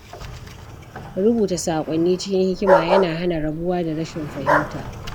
Rubuta saƙonni cikin hikima yana hana rabuwa da rashin fahimta.